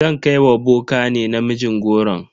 Zan kai wa boka ne namijin goron.